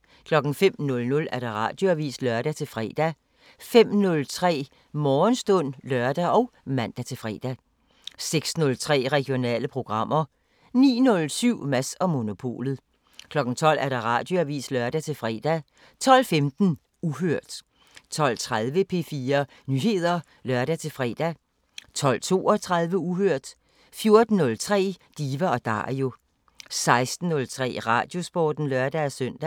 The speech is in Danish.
05:00: Radioavisen (lør-fre) 05:03: Morgenstund (lør og man-fre) 06:03: Regionale programmer 09:07: Mads & Monopolet 12:00: Radioavisen (lør-fre) 12:15: Uhørt 12:30: P4 Nyheder (lør-fre) 12:32: Uhørt 14:03: Diva & Dario 16:03: Radiosporten (lør-søn)